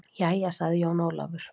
Jæja, sagði Jón Ólafur.